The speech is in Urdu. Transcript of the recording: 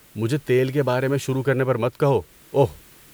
مجھے تیل کے بارے میں شروع کرنے پر مت کہو، اوہ۔